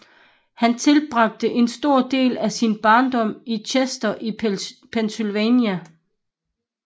Han tilbragte en stor del af sin barndom i Chester i Pennsylvania